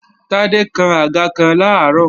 Tádé kán àga kan làárọ̀